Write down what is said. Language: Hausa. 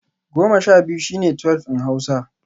(ten) twelve is twelve in Hausa